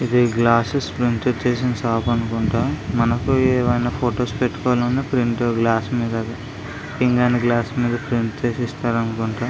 ఇది glasses print చేసే shop అనుకుంటా మనకు ఏవైనా ఫోటోస్ పెట్టుకోవాలనున్న ప్రింట్ గ్లాస్ మీద పింగాణి గ్లాస్ మీద ప్రింట్ చేసి ఇస్తారు అనుకుంటా.